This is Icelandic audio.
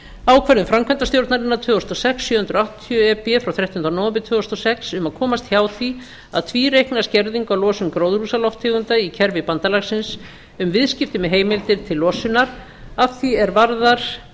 ákvörðun framkvæmdastjórnarinnar tvö þúsund og sex sjö hundruð áttatíu e b frá þrettánda nóvember tvö þúsund og sex um að komast hjá því að tvíreikna skerðingu á losun gróðurhúsalofttegunda í kerfi bandalagsins um viðskipti með heimildir átt losunar að því er varðar